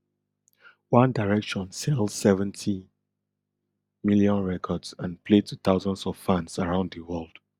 one direction sell seventy million records and play to thousands of fans around di world